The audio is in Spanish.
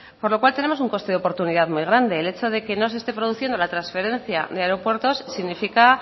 con lo cual tenemos un coste de oportunidad muy grande el hecho de que no se esté produciendo la transferencia de aeropuertos significa